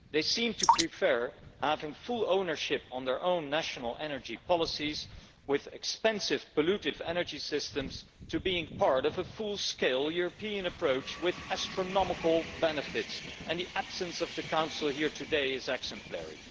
They seem to prefer having full ownership of their own national energy policies with expensive pollutive energy systems to being part of a full scale European approach with astronomical benefits, and the absence of the Council here today is exemplary.